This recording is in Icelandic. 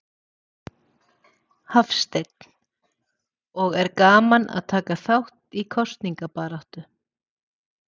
Hafsteinn: Og er gaman að taka þátt í kosningabaráttu?